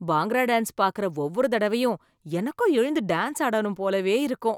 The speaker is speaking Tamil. பாங்க்ரா டான்ஸ் பாக்குற ஒவ்வொரு தடவையும் எனக்கும் எழுந்து டான்ஸ் ஆடணும் போலவே இருக்கும்.